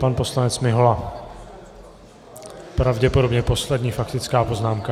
Pan poslanec Mihola, pravděpodobně poslední faktická poznámka.